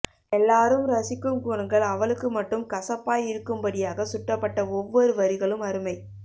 எல்லாரும் ரசிக்கும் குணங்கள் அவளுக்கு மட்டும் கசப்பாய் இருக்கும்படியாக சுட்டப்பட்ட ஒவ்வொரு வரிகளும் அருமை